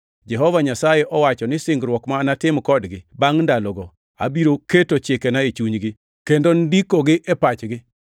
“Jehova Nyasaye owacho ni singruok ma anatim kodgi bangʼ ndalogo, abiro keto chikena e chunygi, kendo ndikogi e pachgi.” + 10:16 \+xt Jer 31:33\+xt*